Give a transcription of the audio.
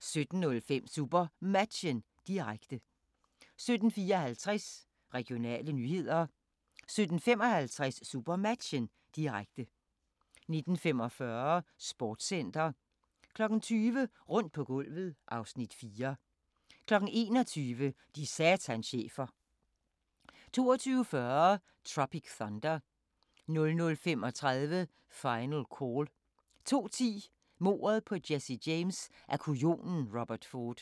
17:05: SuperMatchen, direkte 17:54: Regionale nyheder 17:55: SuperMatchen, direkte 19:45: Sportscenter 20:00: Rundt på gulvet (Afs. 4) 21:00: De satans chefer 22:40: Tropic Thunder 00:35: Final Call 02:10: Mordet på Jesse James af kujonen Robert Ford